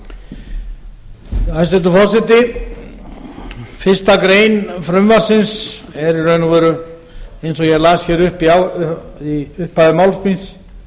í reynd hæstvirtur forseti fyrstu grein frumvarpsins er í raun og veru eins og ég las hér í upphafi máls míns